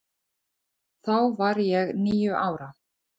Þá var ég níu ára.